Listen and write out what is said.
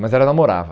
Mas ela namorava.